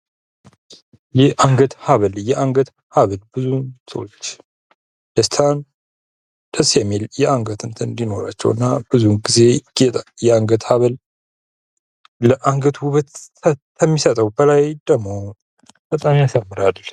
የአንገት ሀብል። የአንገት ሀብል ብዙ ሰዎች ደስታን ደስ የሚል የአንገት እንትን እንዲኖራቸው እና ብዙ ጊዜ የአንገት ሀብል አንገት ውበት ከሚሰጠው በላይ ደግሞ በጣም ያሳምራል።